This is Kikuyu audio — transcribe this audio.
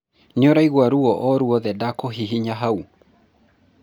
nĩuraigua ruo o ruothe ndakũhihinya hau?